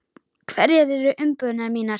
Hverjar eru umbúðir mínar?